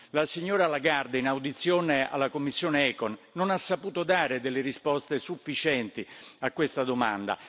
La signora Lagarde, in audizione alla commissione ECON, non ha saputo dare delle risposte sufficienti a questa domanda.